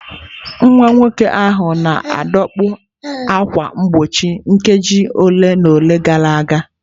Nwa nwoke ahụ na-adọkpụ ákwà mgbochi nkeji ole na ole gara aga.